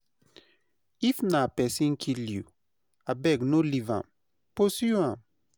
If na pesin kill you, abeg no leave am, pursue am.